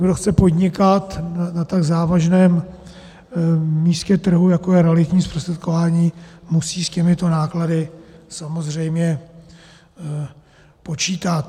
Kdo chce podnikat na tak závažném místě trhu, jako je realitní zprostředkování, musí s těmito náklady samozřejmě počítat.